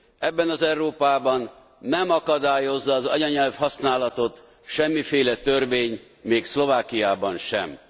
Ebben az Európában nem akadályozza az anyanyelvhasználatot semmiféle törvény még Szlovákiában sem.